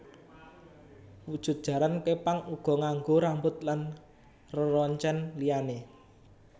Wujud jaran képang uga nganggo rambut lan reroncèn liyané